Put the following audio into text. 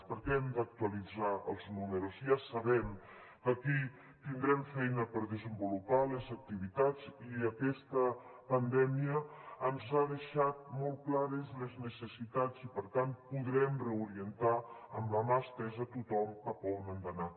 perquè hem d’actualitzar els números ja sabem que aquí tindrem feina per desenvolupar les activitats i aquesta pandèmia ens ha deixat molt clares les necessitats i per tant podrem reorientar amb la mà estesa a tothom cap on han d’anar